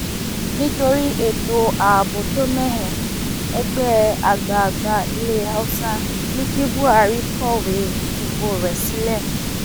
nítorí ètò ààbò tó mẹhẹ ẹgbẹ àgbààgbà ilẹ haúsá ní kí buhari kọwé fipò rẹ sílẹ